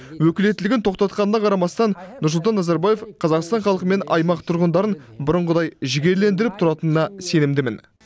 өкілеттілігін тоқтатқанына қарамастан нұрсұлтан назарбаев қазақстан халқы мен аймақ тұрғындарын бұрынғыдай жігерлендіріп тұратынына сенімдімін